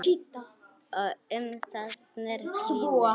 Um það snerist líf mitt.